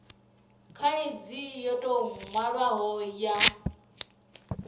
khaidzo yo tou nwalwaho ya